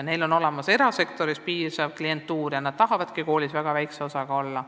Mõnedel aga on erasektoris piisav klientuur ja nad tahavadki koolis väga väikse koormusega töötada.